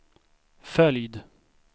följd